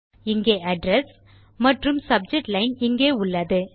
இங்கே அட்ரெஸ் மற்றும் subject line இங்கே உள்ளது